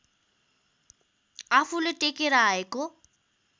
आफूले टेकेर आएको